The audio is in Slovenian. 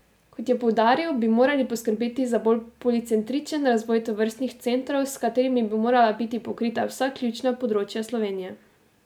Kot je poudaril, bi morali poskrbeti za bolj policentričen razvoj tovrstnih centrov, s katerimi bi morala biti pokrita vsa ključna področja Slovenije.